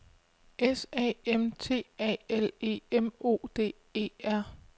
S A M T A L E M O D E R